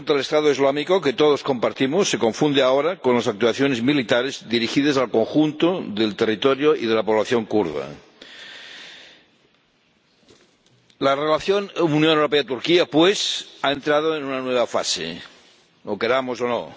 lucha contra el Estado Islámico, que todos compartimos, se confunde ahora con las actuaciones militares dirigidas al conjunto del territorio y de la población kurda. La relación Unión Europea Turquía, pues, ha entrado en una nueva fase, lo queramos o no.